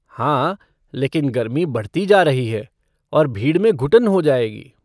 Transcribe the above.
हाँ, लेकिन गर्मी बढ़ती जा रही है और भीड़ में घुटन हो जाएगी।